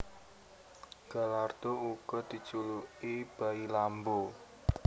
Gallardo uga dijuluki bayi Lambo